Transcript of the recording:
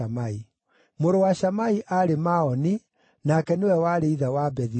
Mũrũ wa Shamai aarĩ Maoni, nake nĩwe warĩ ithe wa Bethi-Zuru.